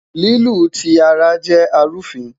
Lilu ti ara jẹ arufin